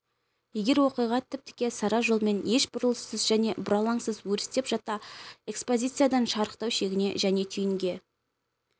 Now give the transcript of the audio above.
егер оқиға тіп-тіке сара жолмен еш бұрылыссыз және бұралаңсыз өрістеп жатса экспозициядан шарықтау шегіне және түйінге